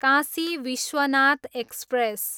Kashi Vishwanath express